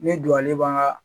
Ne don ale b'an ka